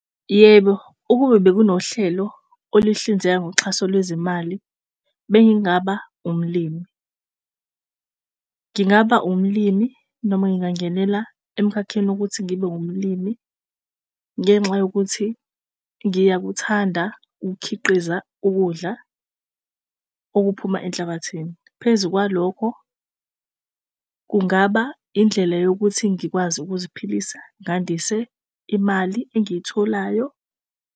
Yebo, ukube bekunohlelo oluhlinzeka ngoxhaso lwezimali. Bengingaba umlimi ngingaba umlimi noma ngingangenela emkhakheni wokuthi ngibe umlimi. Ngenxa yokuthi ngiyakuthanda ukukhiqiza ukudla okuphuma enhlabathini. Phezu kwalokho kungaba indlela yokuthi ngikwazi ukuziphilisa ngandise imali engiyitholayo.